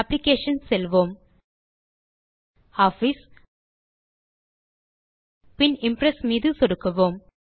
applications செல்வோம் gtOffice பின் Impress மீதும் சொடுக்குவோம்